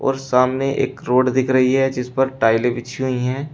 और सामने एक रोड दिख रही है जिस पर टाइलें बिछी हुई हैं।